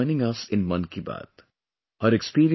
Preeti ji is joining us in 'Mann Ki Baat'